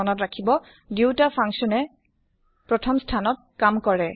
মনত ৰাখিব160 দুয়োটা ফাংচনে ৰ প্ৰথম স্থান ত কাম কৰে